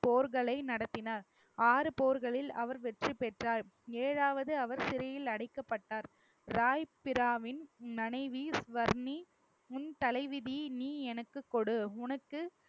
போர்களை நடத்தினர் ஆறு போர்களில் அவர் வெற்றி பெற்றார் ஏழாவது அவர் சிறையில் அடைக்கப்பட்டார் ராய் பிராமின் மனைவி ஸ்வர்ணி உன் தலைவிதி நீ எனக்கு கொடு உனக்கு